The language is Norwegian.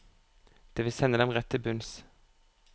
Det vil sende dem rett til bunns.